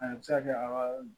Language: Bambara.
A bɛ se ka kɛ a